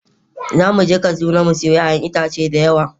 Za mu je kaduna mu sayo 'ya'yan itatuwa da yawa.